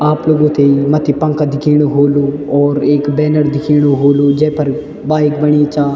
आप लोगु थेइ मथ्थी पंखा दिखेणु होलू और एक बैनर दिखेणु होलू जेफ़र बाइक बणीं चा।